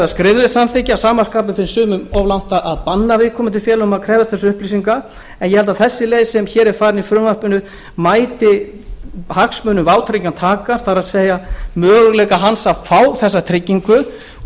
skriflegs samþykkis að sama skapi finnst sumum of langt gengið að banna viðkomandi félögum að krefjast þessara upplýsinga en ég held að þessi leið sem hér er farin í frumvarpinu mæti hagsmunum vátryggingartakans það er möguleikum hans að fá þessa tryggingu og